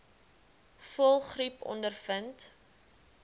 voëlgriep ondervind